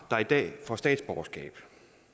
der i dag får statsborgerskab